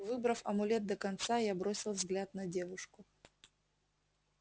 выбрав амулет до конца я бросил взгляд на девушку